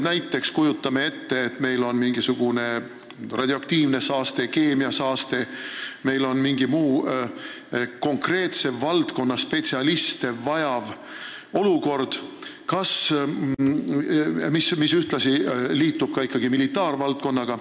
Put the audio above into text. Näiteks kujutame ette, et meil tekib mingil põhjusel radioaktiivne või keemiasaaste või mingi muu konkreetse valdkonna spetsialistide sekkumist vajav olukord, mis seostub ka militaarvaldkonnaga.